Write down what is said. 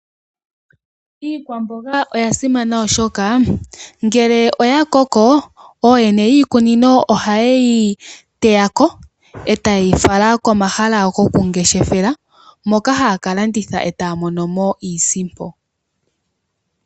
Iikwamboga oya simana oshoka ngele oya koko ooyene yiikunino ohaye yi teyako e taye yi fala komahala gokungeshefela moka haya kalanditha e taya monono iisimpo.